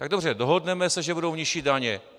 Tak dobře, dohodneme se, že budou nižší daně.